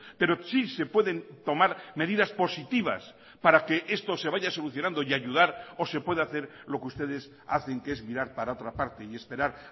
pero sí se pueden tomar medidas positivas para que esto se vaya solucionando y ayudar o se puede hacer lo que ustedes hacen que es mirar para otra parte y esperar